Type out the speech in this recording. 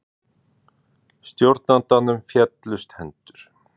Stjórnandanum féllust hendur.